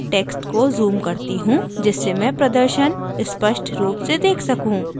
अब मैं text को zoom करती हूँ जिससे मैं प्रदर्शन स्पष्ट रूप से let सकूँ